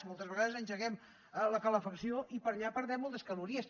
moltes vegades engeguem la calefacció i per allà perdem moltes calories